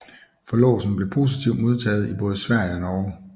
Forlovelsen blev positivt modtaget i både Sverige og Norge